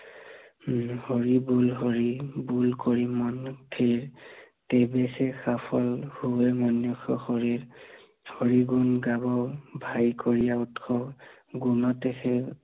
হৰি বুল হৰি, বুল কৰি মন স্থিৰ, তেৱেসে সফল হৈৱে মনুষ্য় শৰীৰ, হৰি গুণ গাব ভায় কৰিয়া উৎস, গুণতে সে